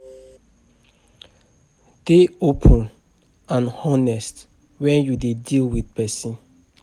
Dey open and honest when you dey deal with person